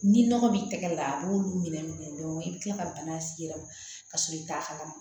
Ni nɔgɔ b'i tɛgɛ la a b'olu minɛ minɛ dɔrɔn i bi kila ka bana s'i yɛrɛ ma ka sɔrɔ i t'a kalama